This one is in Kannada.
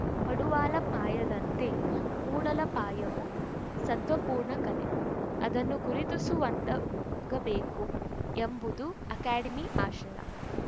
ಪಡುವಲಪಾಯದಂತೆ ಮೂಡಲಪಾಯವೂ ಸತ್ವಪೂರ್ಣ ಕಲೆ ಅದನ್ನು ಗುರುತಿಸುವಂತಾಗಬೇಕು ಎಂಬುದು ಅಕಾಡೆಮಿ ಆಶಯ